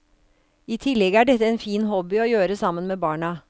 I tillegg er dette en fin hobby å gjøre sammen med barna.